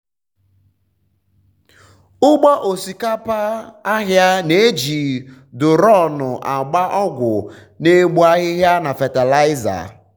ugbo osikapa ahia na-eji duronu agba ọgwụ na-egbu ahụhụ na fatịlaịza.